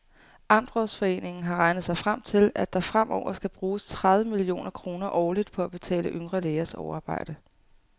Amtsrådsforeningen har regnet sig frem til, at der fremover skal bruges tredive millioner kroner årligt på at betale yngre lægers overarbejde.